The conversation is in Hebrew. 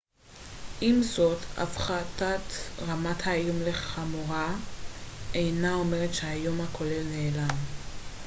עם זאת הפחתת רמת האיום לחמורה אינה אומרת שהאיום הכולל נעלם